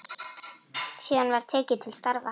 Síðan var tekið til starfa.